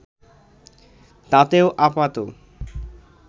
তাতেও আপাত